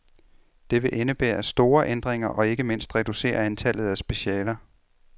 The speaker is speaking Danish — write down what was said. Det vil indebære store ændringer og ikke mindst reducere antallet af specialer.